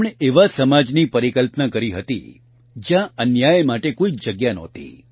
તેમણે એવા સમાજની પરિકલ્પના કરી હતી જયાં અન્યાય માટે કોઇ જગ્યા નહોતી